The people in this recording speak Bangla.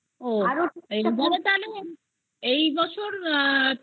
এই বছর পিঠে পার্বনের সময় আমাদের যেটা পৌষ